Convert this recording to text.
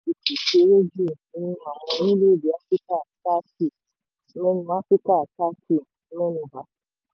àwọn orílẹ̀-èdè áfíríkà thirty mẹ́nu áfíríkà thirty mẹ́nu bà.